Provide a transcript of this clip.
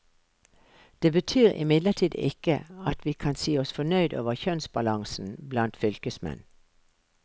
Det betyr imidlertid ikke at vi kan si oss fornøyd over kjønnsbalansen blant fylkesmenn.